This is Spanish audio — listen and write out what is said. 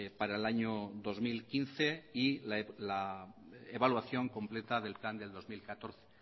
para el año dos mil quince y la evaluación completa del plan del dos mil catorce